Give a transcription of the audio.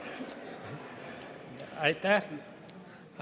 Aitäh!